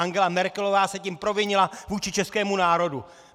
Angela Merkelová se tím provinila vůči českému národu!!!